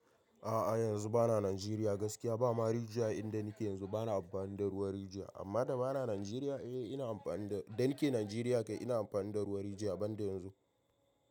A'a yanzu bana Najeriya gaskiya bama rigiya a inda nake yanzu bana amfani da ruwan rijiya amma da bana Najeriya eh ina amfani da dan ke Najeriya kai ina amfani da ruwan rijiya ban da yanzu.